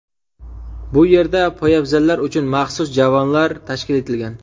Bu yerda poyabzallar uchun maxsus javonlar tashkil etilgan.